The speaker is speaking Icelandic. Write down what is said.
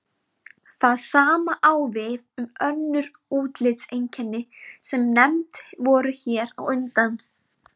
Það sama á við um önnur útlitseinkenni sem nefnd voru hér á undan.